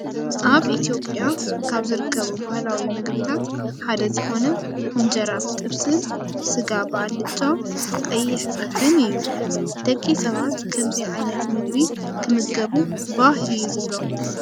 ኣብ ኢትዮጵያ ካብ ዝርከቡ ባህላዊ ምግብታት ሓደ ዝኮነ እንጀራ ብጥብሲን ስጋ ብኣልጫ ፣ ቀይሕ ፀብሕን እዩ። ደቂ ሰባት ከምዚ ዓይነት ምግቢ ክምገቡ ባህ እዩ ዝብሎም።